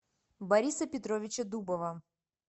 бориса петровича дубова